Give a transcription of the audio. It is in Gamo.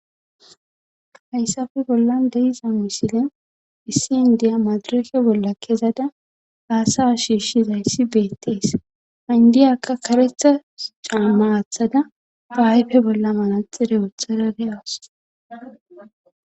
Hayssafe bolla deiza misile issi indiya madureke bolla kezada haasa shiishshizayssi beettees indiyakka karetha caamaaathada baayfe bolla malaxire wootharade7awas.